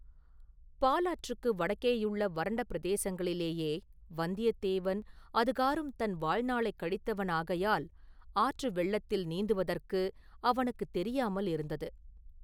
பாலாற்றுக்கு வடக்கேயுள்ள வறண்ட பிரதேசங்களிலேயே வந்தியத்தேவன் அதுகாறும் தன் வாழ்நாளைக் கழித்தவன் ஆகையால் ஆற்று வெள்ளத்தில் நீந்துவதற்கு அவனுக்குத் தெரியாமலிருந்தது.